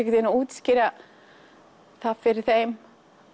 veginn að útskýra það fyrir þeim